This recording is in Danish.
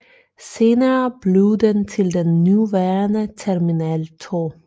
Senere blev den til den nuværende Terminal 2